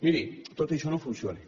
miri tot això no funciona